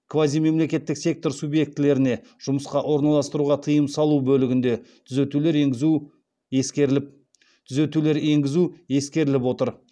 квазимемлекеттік сектор субъектілеріне жұмысқа орналастыруға тыйым салу бөлігінде түзетулер енгізу ескеріліп отыр